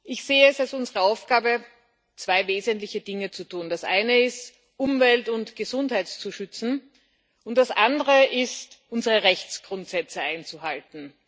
Ich sehe es als unsere Aufgabe, zwei wesentliche Dinge zu tun Das eine ist, Umwelt und Gesundheit zu schützen, und das andere ist, unsere Rechtsgrundsätze einzuhalten.